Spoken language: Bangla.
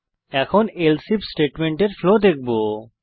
এখন এলসে আইএফ স্টেটমেন্টের ফ্লো দেখবো